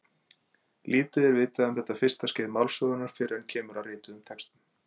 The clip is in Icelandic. Lítið er vitað um þetta fyrsta skeið málsögunnar fyrr en kemur að rituðum textum.